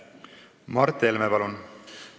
Mart Helme, palun!